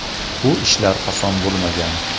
Bu ishlar oson bo‘lmagan.